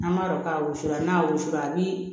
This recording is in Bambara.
An b'a dɔn k'a wusula n'a wusura a bi